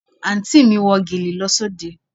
Àǹtí mi wọ gèlè lọ sí òde